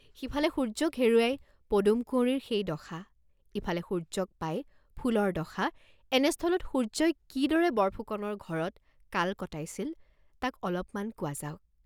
সিফালে সূৰ্য্যক হেৰুৱাই পদুমকুঁৱৰীৰ সেই দশা, ইফালে সূৰ্য্যক পাই ফুলৰ দশা, এনেস্থলত সূৰ্য্যই কি দৰে বৰফুকনৰ ঘৰত কাল কটাইছিল, তাক অলপমান কোৱা যাওক।